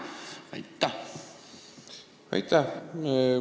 Aitäh!